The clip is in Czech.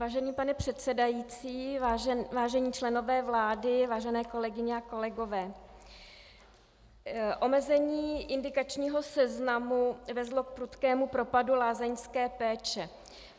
Vážený pane předsedající, vážení členové vlády, vážené kolegyně a kolegové, omezení indikačního seznamu vedlo k prudkému propadu lázeňské péče.